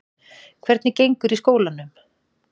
Hvernig gengur í skólanum?